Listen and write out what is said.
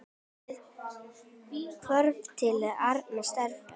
Við hverfum til annarra starfa.